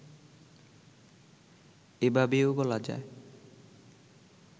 এভাবেও বলা যায়